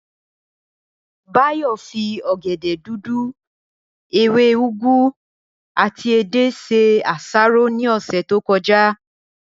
Báyò̩ fi ò̩gè̩dè̩ dúdú, ewé úgu àti edé se àsáró ní ò̩sè̩ tó ko̩já